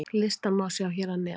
Listann má sjá hér að neðan.